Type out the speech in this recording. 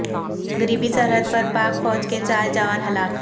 مغربی سرحد پر پاک فوج کے چار جوان ہلاک